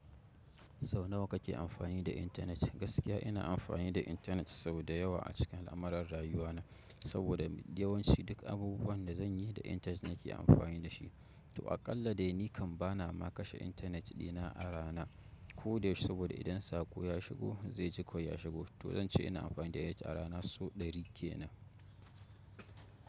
Sau nawa kame amfani da intanet? Gaskiya ina amfani da intanet sau da yawa a cikin al'amuran rayuwa na, saboda yawanci duk abubuwan da zan yi da intanet nake amfani da shi. To aƙalla dai ni kan ba na ma kashe intanet dina a rana ko da yaushe saboda idan sako ya shigo zai ji kawai ya shigo. To zan ce ina amfani da shi a rana sau ɗari kenan.